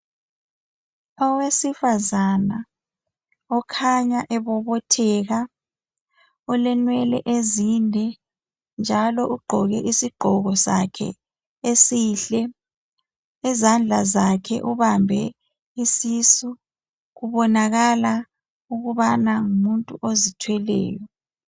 Owesifazana okhanya ebobotheka olenwele ezinde njalo ugqoke isigqoko sakhe esihle izandla zakhe ubambe isisu kubonakala ukubana ngumuntu ozithweleyo.